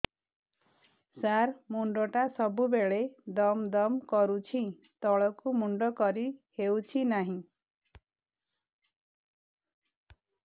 ସାର ମୁଣ୍ଡ ଟା ସବୁ ବେଳେ ଦମ ଦମ କରୁଛି ତଳକୁ ମୁଣ୍ଡ କରି ହେଉଛି ନାହିଁ